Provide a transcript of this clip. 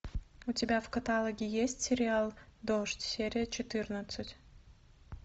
у тебя в каталоге есть сериал дождь серия четырнадцать